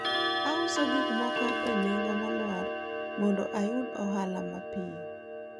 auso gikmoko e nengo molwar mondo ayud ohala mapiyo